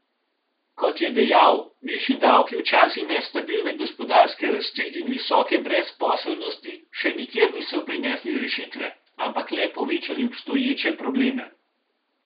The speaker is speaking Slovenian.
Kot je dejal, višji davki v času nestabilne gospodarske rasti in visoke brezposelnosti še nikjer niso prinesli rešitve, ampak le povečali obstoječe probleme.